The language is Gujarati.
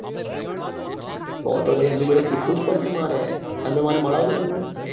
તો તો ભાઈ એમની જોડે શીખવું જ પડશે મારે તમે મને માલવ જો એમને